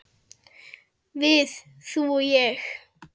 Við, þú og ég.